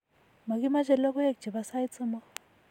makimache lokoek che po sait somok